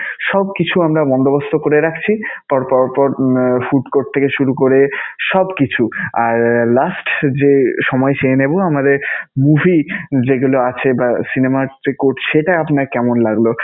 সবকিছু আমরা বন্দোবস্ত করে রাখছি. প~ পর পর food court থেকে শুরু করে সবকিছু. আর last যে সময় চেয়ে নেবো আমাদের movie যেগুলো আছে বা cinema যে court সেটা আপনার কেমন লাগলো?